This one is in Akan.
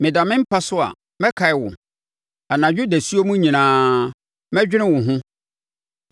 Meda me mpa so a, mekae wo. Anadwo dasuo mu nyinaa, medwene wo ho.